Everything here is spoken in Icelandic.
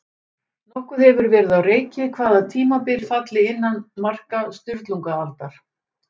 Nokkuð hefur verið á reiki hvaða tímabil falli innan marka Sturlungaaldar.